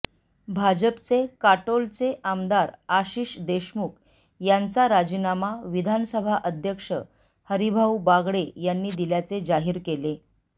भाजपचे काटोलचे आमदार आशिष देशमुख यांचा राजीनामा विधानसभा अध्यक्ष हरीभाऊ बागडे यांनी दिल्याचे जाहीर केले